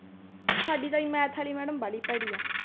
ਸਾਡੀ ਤਾਂ ਜੀ math ਵਾਲੀ madam ਬਾਹਲੀ ਭੈੜੀ ਆ।